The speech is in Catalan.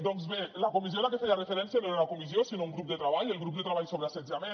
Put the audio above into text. doncs bé la comissió a la que feia referència no era una comissió sinó un grup de treball el grup de treball sobre assetjament